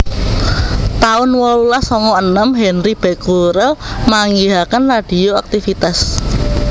taun wolulas sanga enem Henri Becquerel manggihaken radioaktivitas